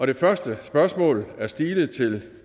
det første spørgsmål er stilet til